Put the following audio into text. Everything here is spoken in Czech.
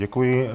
Děkuji.